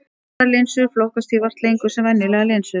Harðar linsur flokkast því vart lengur sem venjulegar linsur.